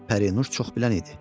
Pərinüş çox bilən idi.